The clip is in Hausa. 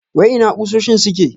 Wai ina kusoshin suke?